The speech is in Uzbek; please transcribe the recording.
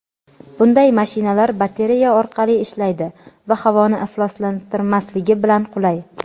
Bunday mashinalar batareya orqali ishlaydi va havoni ifloslantirmasligi bilan qulay.